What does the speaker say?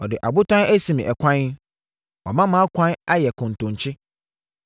Ɔde abotan asi me ɛkwan; wama mʼakwan ayɛ kɔntɔnkye.